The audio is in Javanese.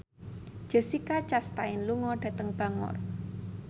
Jessica Chastain lunga dhateng Bangor